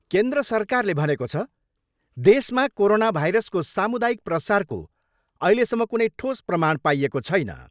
केन्द्र सरकारले भनेको छ, देशमा कोरोना भाइरसको सामुदायिक प्रसारको अहिलेसम्म कुनै ठोस प्रमाण पाइएको छैन।